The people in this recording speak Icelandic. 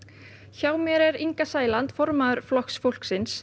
hjá mér er Inga Sæland formaður Flokks fólksins